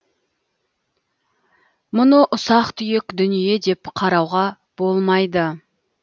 мұны ұсақ түйек дүние деп қарауға болмайды